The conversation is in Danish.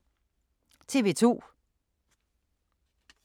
TV 2